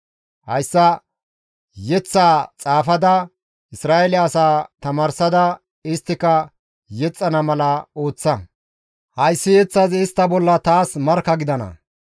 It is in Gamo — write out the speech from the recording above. «Hayssa yeththaa xaafada Isra7eele asaa tamaarsada isttika yexxana mala ooththa; hayssi yeththazi istta bolla taas markka gidana.